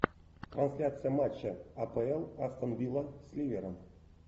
трансляция матча апл астон вилла с ливером